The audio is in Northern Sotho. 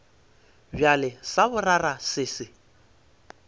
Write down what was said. bjale sa boraro se se